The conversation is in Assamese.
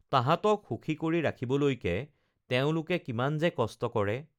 তাহাতঁক সুখী কৰি ৰাখিবলৈকে তেওঁলোকে কিমান যে কষ্ট কৰে